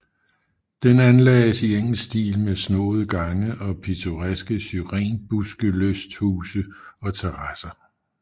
Den anlagdes i engelsk stil med snoende gange og pittoreska syrenbuskelysthuse og terasser